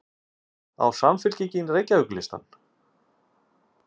Á Samfylkingin Reykjavíkurlistann?